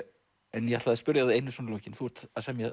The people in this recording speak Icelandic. en ég ætlaði að spyrja þig að einu svona í lokin þú ert að semja